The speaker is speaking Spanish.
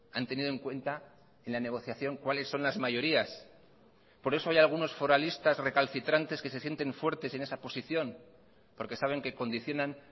han tenido en cuenta en la negociación cuáles son las mayorías por eso hay algunos foralistas recalcitrantes que se sienten fuertes en esa posición porque saben que condicionan